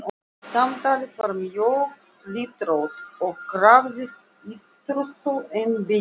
Samtalið var mjög slitrótt og krafðist ýtrustu einbeitingar.